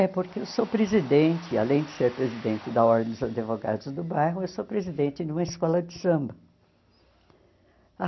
É porque eu sou presidente, além de ser presidente da Ordem dos Advogados do bairro, eu sou presidente de uma escola de samba.